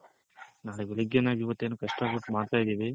ನಾಳೆ ಬೆಳಿಗ್ಗೆ ನಾವ್ ಇವತ್ತೇನು ಕಷ್ಟ ಪಟ್ಟು ಮಾಡ್ತಾ ಇದಿವಿ.